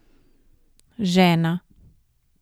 Žena.